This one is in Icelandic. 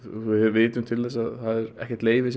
við vitum til þess að það er ekkert leyfi